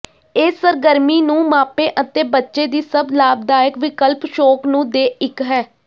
ਇਹ ਸਰਗਰਮੀ ਨੂੰ ਮਾਪੇ ਅਤੇ ਬੱਚੇ ਦੀ ਸਭ ਲਾਭਦਾਇਕ ਵਿਕਲਪ ਸ਼ੌਕ ਨੂੰ ਦੇ ਇੱਕ ਹੈ